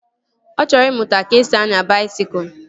Ọ chọrọ ịmụta ka-esi anya baisikụl